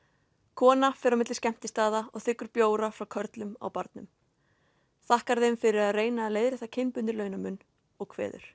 kona fer á milli skemmtistaða og þiggur bjóra frá körlum á barnum þakkar þeim fyrir að reyna að leiðrétta kynbundinn launamun og kveður